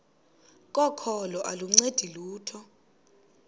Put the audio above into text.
kokholo aluncedi lutho